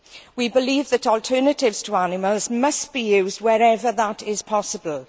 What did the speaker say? We believe that alternatives to animals must be used wherever that is possible.